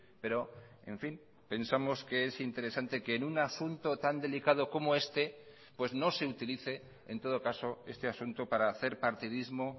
pero en fin pensamos que es interesante que en un asunto tan delicado como este pues no se utilice en todo caso este asunto para hacer partidismo